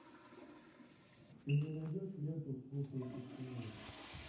ты мне найдешь ленту слушая тишину